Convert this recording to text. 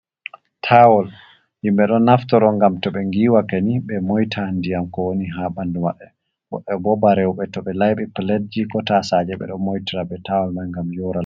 Tawol yimɓe ɗo naftoro ngam to ɓe ngiiwake nii ɓe moita ndiyam ko woni haa ɓandu maɓɓe. Woɓɓe bo ba rewɓe to ɓe layɓi piletji ko tasaje ɓe ɗo moitira be tawal man ngam yora.